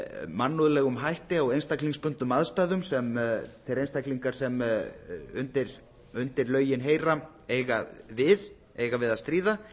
mannúðlegum hætti á einstaklingsbundnum aðstæðum sem þeir einstaklingar sem undir lögin heyra eiga við að stríða